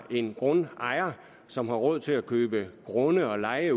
en grundejer som har råd til at købe grunde og leje